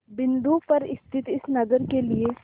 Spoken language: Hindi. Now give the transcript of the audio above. बिंदु पर स्थित इस नगर के लिए